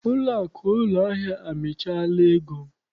Ụlọakụ ụlọahịa amịchaala ego m.